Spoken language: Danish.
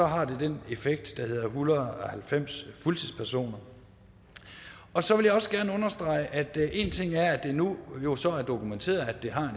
har det den effekt der hedder en hundrede og halvfems fuldtidspersoner så vil jeg også gerne understrege at det nu nu så er dokumenteret at det har